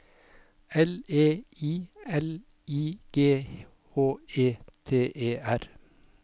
L E I L I G H E T E R